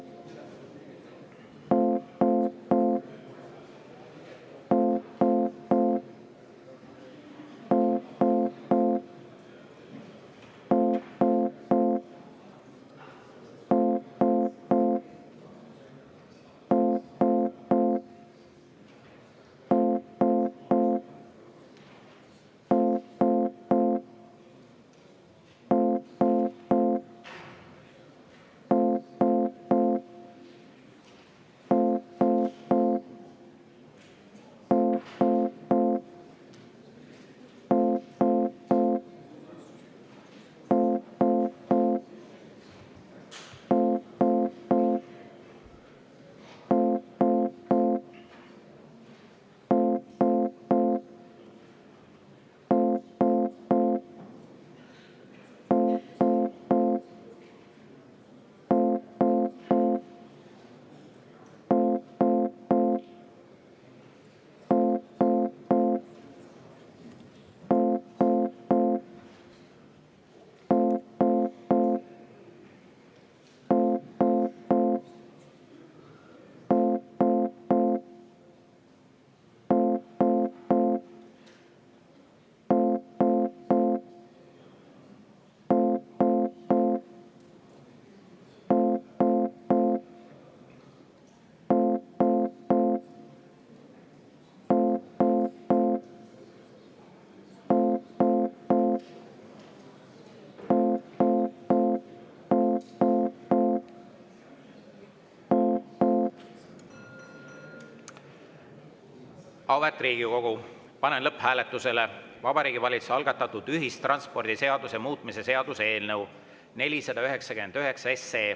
Auväärt Riigikogu, panen lõpphääletusele Vabariigi Valitsuse algatatud ühistranspordiseaduse muutmise seaduse eelnõu 499.